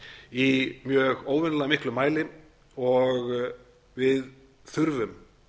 í óvenjulega miklum mæli og við þurfum